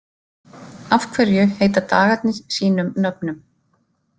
Af hverju heita dagarnir sínum nöfnum?